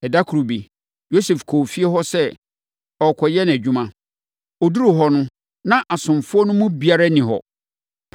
Ɛda koro bi, Yosef kɔɔ efie hɔ sɛ ɔrekɔyɛ nʼadwuma. Ɔduruu hɔ no, na asomfoɔ no mu biara nni hɔ.